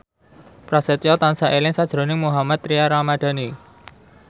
Prasetyo tansah eling sakjroning Mohammad Tria Ramadhani